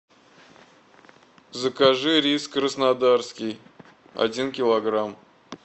закажи рис краснодарский один килограмм